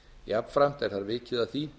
jafnframt er þar vikið að því